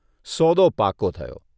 સોદો પાકો થયો.